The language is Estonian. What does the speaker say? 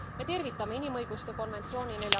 Me tervitame inimõiguste konventsiooni